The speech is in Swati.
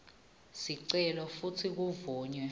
sicelo futsi kuvunywe